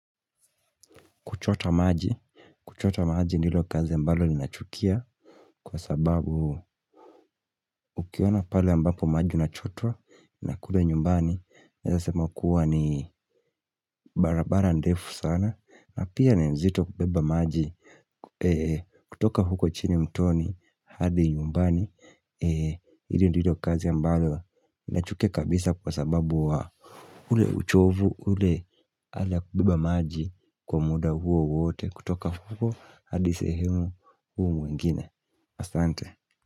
Kuchota maji, kuchota maji ndilo kazi ambalo ni nachukia kwa sababu ukiona pale ambapo maji unachotwa na kule nyumbani. Naeza sema kuwa ni barabara ndefu sana na pia ni mzito kubeba maji kutoka huko chini mtoni hadi nyumbani. Ili ndilo kazi mbalo ni nachukia kabisa kwa sababu wa ule uchovu ule hali ya kubeba maji kwa muda huo wote. Kutoka huko hadi sehemu huu mwingine. Asante.